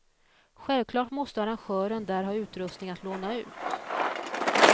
Självklart måste arrangören där ha utrustning att låna ut.